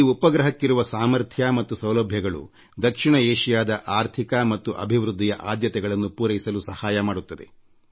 ಈ ಉಪಗ್ರಹಕ್ಕಿರುವ ಸಾಮರ್ಥ್ಯ ಮತ್ತು ಸೌಲಭ್ಯಗಳು ದಕ್ಷಿಣ ಏಷಿಯಾದ ಆರ್ಥಿಕ ಮತ್ತು ಅಭಿವೃದ್ಧಿಯ ಆದ್ಯತೆಗಳನ್ನು ಪೂರೈಸಲು ನೆರವಾಗುತ್ತದೆ